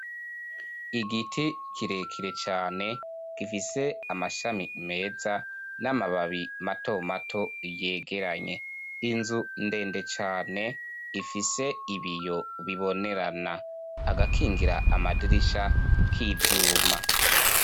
Igiti kirekire cane gifise amashami meza n'amababi matomato yegeranye inzu ndende cane ifise ibiyo bibonerana agakingira amadirisha k'ivyuma.